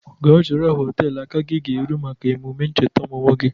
Ga chọrọ họteelụ aka gi ga-eru maka emụme ncheta ọmụmụ gi!